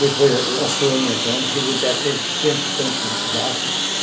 Depois foi aumentando, chegou até a ter cento e tantos baixos.